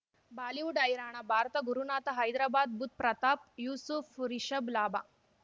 Bollywood ಹೈರಾಣ ಭಾರತ ಗುರುನಾಥ ಹೈದರಾಬಾದ್ ಬುಧ್ ಪ್ರತಾಪ್ ಯೂಸುಫ್ ರಿಷಬ್ ಲಾಭ